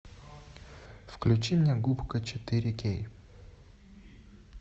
включи мне губка четыре кей